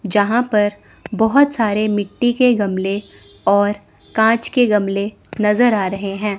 जहां पर बहोत सारे मिट्टी के गमले और कांच के गमले नजर आ रहे हैं।